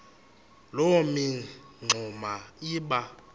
loo mingxuma iba